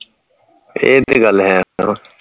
ਇਹ ਤੇ ਗੱਲ ਹੈ